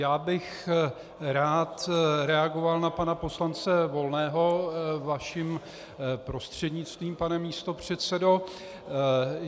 Já bych rád reagoval na pana poslance Volného vaším prostřednictvím, pane místopředsedo.